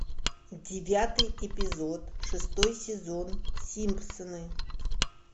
девятый эпизод шестой сезон симпсоны